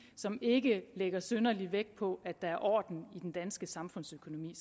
som ikke lægger synderlig vægt på at der er orden i den danske samfundsøkonomi